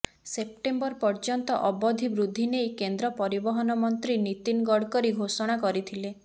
September ପର୍ଯ୍ୟନ୍ତ ଅବଧି ବୃଦ୍ଧି ନେଇ କେନ୍ଦ୍ର ପରିବହନ ମନ୍ତ୍ରୀ ନୀତିନ ଗଡକରୀ ଘୋଷଣା କରିଥିଲେ